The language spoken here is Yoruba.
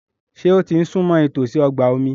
Ṣé ó ti súnmọ́ ìtòsí ọgbà omi?